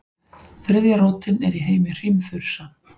Þriðja rótin er í heimi hrímþursa.